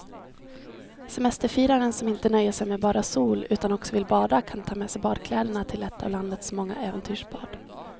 Semesterfiraren som inte nöjer sig med bara sol utan också vill bada kan ta med sig badkläderna till ett av landets många äventyrsbad.